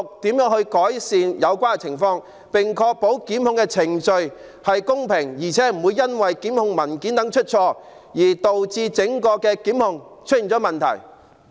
當局如何改善有關情況，並確保檢控程序公平，而且不會因為檢控文件出錯，而導致檢控程序出現問題？